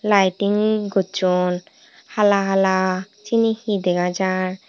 laiting gosson hala hala seyani he dega jar.